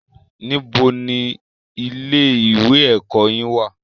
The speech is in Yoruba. Ibo ni ilé ìwé ẹ̀kọ́ yín wà?